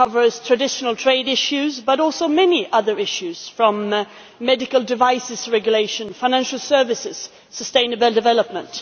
It covers traditional trade issues but also many other issues, from medical devices regulation and financial services to sustainable development.